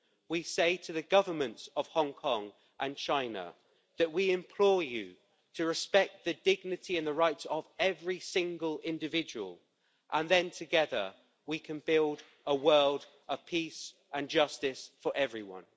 We say to the Governments of Hong Kong and China that we implore you to respect the dignity and the rights of every single individual and then together we can build a world of peace and justice for everyone.